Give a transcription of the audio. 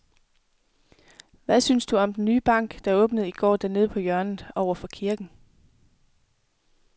Hvad synes du om den nye bank, der åbnede i går dernede på hjørnet over for kirken?